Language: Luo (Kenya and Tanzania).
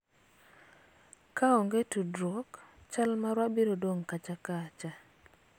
kaonge tudruok ,chal marwa biro dong' kacha kacha